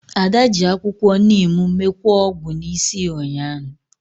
Ada ji akwukwo neem mekwaa ogwu n'isi ya ụnyahụ